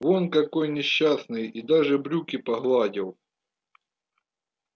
вон какой несчастный и даже брюки погладил